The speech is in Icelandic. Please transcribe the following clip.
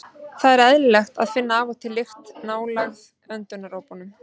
Það er því eðlilegt að finna af og til lykt nálægt öndunaropunum.